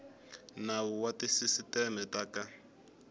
nawu wa tisisiteme ta ka